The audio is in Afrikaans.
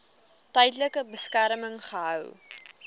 tydelike beskerming gehou